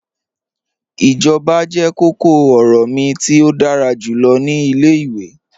Ijọba jẹ kọ̀kọ-ọrọ mi ti o dára julọ ni ilẹ̀-iwe.